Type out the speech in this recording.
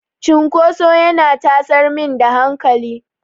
Cinkoso yana tasar min da hankali.